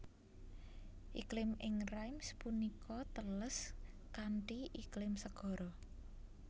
Iklim ing Reims punika teles kanthi iklim segara